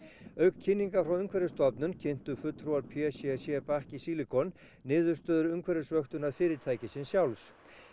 auk kynningar frá Umhverfisstofnun kynntu fulltrúar p c c Bakki Silicon niðurstöður fyrirtækisins sjálfs